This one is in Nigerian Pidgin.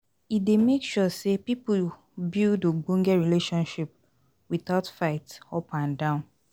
E dey make sure sey pipo build ogbonge relationship without fight up and down